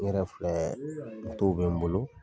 N yɛrɛ filɛ bɛ n bolo.